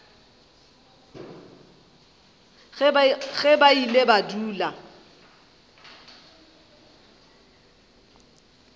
ge ba ile ba dula